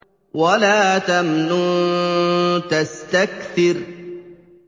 وَلَا تَمْنُن تَسْتَكْثِرُ